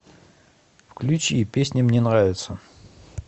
включи песня мне нравится